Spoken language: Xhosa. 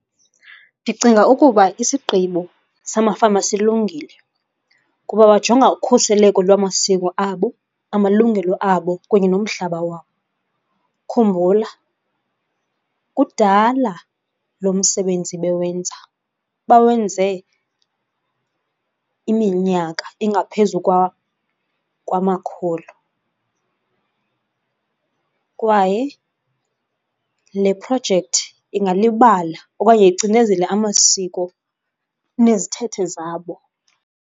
Ndicinga ukuba isigqibo samafama silungile kuba bajonga ukhuseleko lwamasiko abo, amalungelo abo kunye nomhlaba wabo. Khumbula kudala lo msebenzi bewenza, bawenze iminyaka engaphezu kwamakhulu kwaye le projekthi ingalibala okanye icinezele amasiko nezithethe zabo.